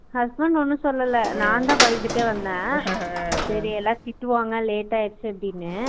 Husband ஒன்னும் சொல்லுலா நான்தான் பயந்துட்டே வந்தான் Laugh சேரி எல்ல திட்டுவாங்க late ஆய்ருச்சு அப்புடின்னு